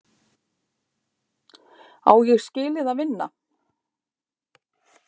Á Ég skilið að vinna?